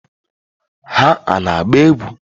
Ha ana-agba egwu?